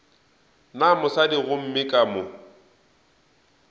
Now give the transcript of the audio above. na mosadi gomme ka mo